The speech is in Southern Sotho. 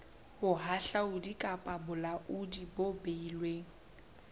bohahlaudi kapa bolaodi bo beilweng